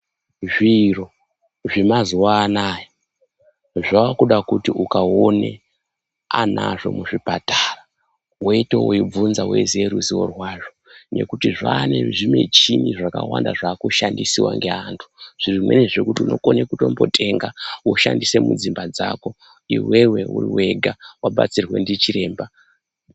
Zviro zvemazuvaano aya zvavakuda kuti ukaone anazvo kuzvipatara weito weibvunza weiziva ruzivo rwazvo nekuti zvaa nezvimichini zvakawanda zvakushandisa neantu zvimweni zvokuti unokone kutombotenga woshandise kudzimba dzako iwewe uri wega wabatsirwa ndichiremba.